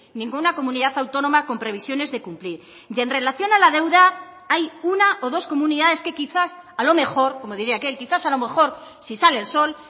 ninguna comunidad autónoma con previsiones de cumplir y en relación a la deuda hay una o dos comunidades que quizás a lo mejor como diría aquel quizás a lo mejor si sale el sol